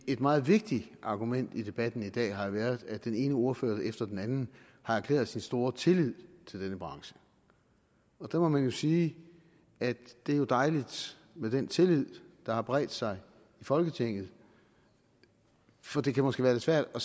et meget vigtigt argument i debatten i dag har jo været at den ene ordfører efter den anden har erklæret sin store tillid til denne branche der må man jo sige at det er dejligt med den tillid der har bredt sig i folketinget for det kan måske være lidt svært at